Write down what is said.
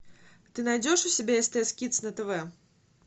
ты найдешь у себя стс кидс на тв